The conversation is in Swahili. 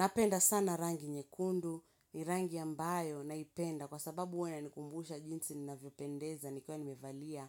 Napenda sana rangi nyekundu, ni rangi ambayo naipenda kwa sababu huwea nikumbusha jinsi ninavyo pendeza ni kwa nimevalia